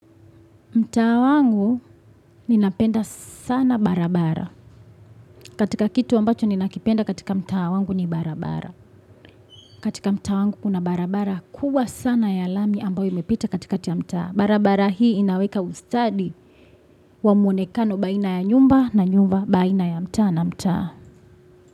Mtaa wangu, ninapenda sana barabara. Katika kitu ambacho ninakipenda katika mtaa wangu ni barabara. Katika mtaa wangu kuna barabara kubwa sana ya lami ambayo imepita kati kati ya mtaa. Barabara hii inaweka ustadi wa mwonekano baina ya nyumba na nyumba baina ya mtaa na mtaa.